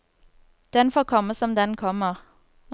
Den får komme som den kommer.